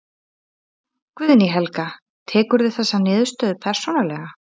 Guðný Helga: Tekurðu þessa niðurstöðu persónulega?